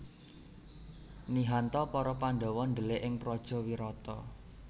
Nihan ta para Pandhawa ndhelik ing praja Wirata